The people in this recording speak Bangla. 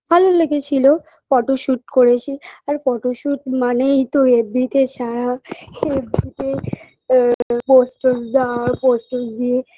ভালো লেগেছিল photoshoot করেছি আর photoshoot মানেই তো fb -তে ছাড়া আ আ pose টোজ দেওয়া pose টোজ দিয়ে